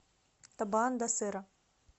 табоан да серра